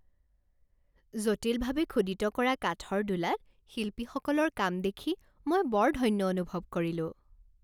জটিলভাৱে খোদিত কৰা কাঠৰ দোলাত শিল্পীসকলৰ কাম দেখি মই বৰ ধন্য অনুভৱ কৰিলোঁ।